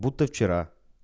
будто вчера